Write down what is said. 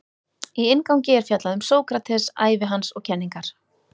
Í inngangi er fjallað um Sókrates, ævi hans og kenningar.